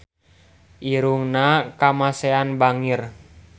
Irungna Kamasean bangir